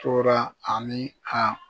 Tora ani a